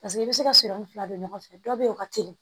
Paseke i bɛ se ka sirimɛ fila don ɲɔgɔn fɛ dɔ bɛ ye o ka teli